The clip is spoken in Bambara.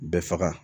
Bɛɛ faga